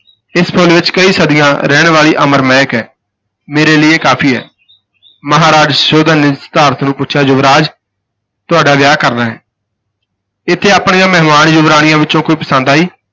ਇਸ ਫੁੱਲ ਵਿਚ ਕਈ ਸਦੀਆਂ ਰਹਿਣ ਵਾਲੀ ਅਮਰ ਮਹਿਕ ਹੈ, ਮੇਰੇ ਲਈ ਇਹ ਕਾਫੀ ਹੈ, ਮਹਾਰਾਜ ਸੁਧੋਧਨ ਨੇ ਸਿਧਾਰਥ ਨੂੰ ਪੁੱਛਿਆ, ਯੁਵਰਾਜ ਤੁਹਾਡਾ ਵਿਆਹ ਕਰਨਾ ਹੈ ਇਥੇ ਆਪਣੀਆਂ ਮਹਿਮਾਨ ਯੁਵਰਾਣੀਆਂ ਵਿਚੋਂ ਕੋਈ ਪਸੰਦ ਆਈ।